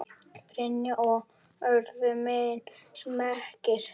Brynja: Og urðu menn smeykir?